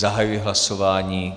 Zahajuji hlasování.